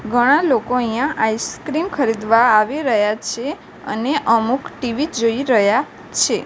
ઘણા લોકો અહીંયા આઈસ્ક્રીમ ખરીદવા આવી રહ્યા છે અને અમુક ટી_વી જોઈ રહ્યા છે.